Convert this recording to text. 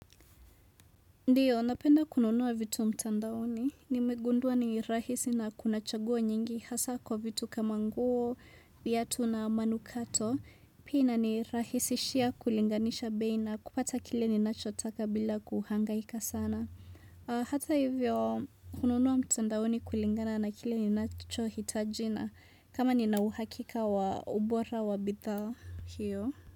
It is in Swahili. Ndiyo, napenda kununua vitu mtandaoni. Nimegundua ni rahisi na kuna chaguo nyingi hasa kwa vitu kama nguo, viatu na manukato. Pia inanirahisishia kulinganisha bei na kupata kile ninacho taka bila kuhangaika sana. Hata hivyo, kununua mtandaoni kulingana na kile ninacho hitaji na. Kama nina uhakika wa ubora wa bidha hiyo.